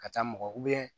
Ka taa mɔgɔ